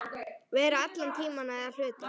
Vera allan tímann eða hluta.